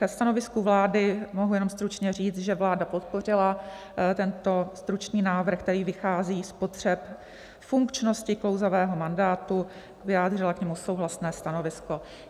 Ke stanovisku vlády mohu jenom stručně říct, že vláda podpořila tento stručný návrh, který vychází z potřeb funkčnosti klouzavého mandátu, vyjádřila k němu souhlasné stanovisko.